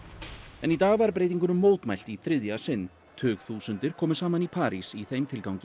en í dag var breytingunum mótmælt í þriðja sinn tugþúsundir komu saman í París í þeim tilgangi